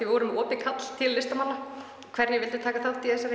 við vorum með opið kall til listamanna um hverjir vildu taka þátt í þessari